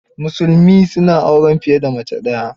Musulmi su na auren fiye da mace daya.